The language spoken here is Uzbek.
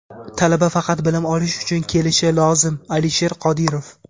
Talaba faqat bilim olish uchun kelishi lozim — Alisher Qodirov.